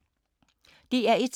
DR1